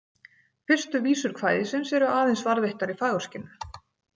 Fyrstu vísur kvæðisins eru aðeins varðveittar í Fagurskinnu.